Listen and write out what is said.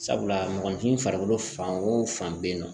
Sabula mɔgɔninfin farikolo fan o fan bɛ yen nɔ